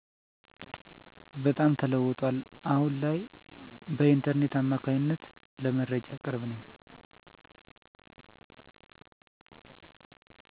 በጣም ተለውጧል አሁን ላይ በኢንተርኔት አማካኝነት ለመረጃ ቅርብ ነኝ።